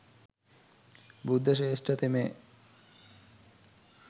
බුද්ධ ශ්‍රේෂ්ඨ තෙමේ